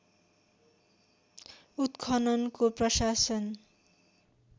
उत्खननको प्रशासन